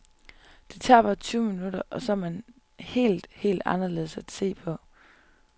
Det tager bare tyve minutter, så er man helt, helt anderledes at se på.